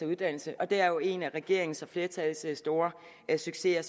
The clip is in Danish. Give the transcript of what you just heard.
uddannelse og det er jo en af regeringens og flertallets store succeser